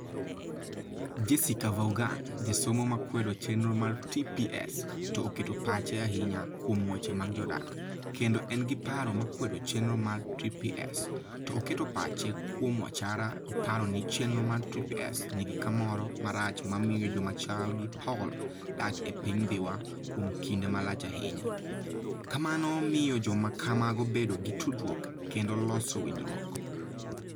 Jessica Vaughan, jasomo ma kwedo chenro mar TPS, to oketo pache ahinya kuom weche mag jodak, kendo en gi paro ma kwedo chenro mar TPS, to oketo pache kuom wachara oparo ni chenro mar TPS nigi kamoro marach mamiyo joma chal gi Paul dak e piny Dhiwa kuom kinde malach ahinya - ka mano miyo joma kamago bedo gi tudruok kendo loso winjruok.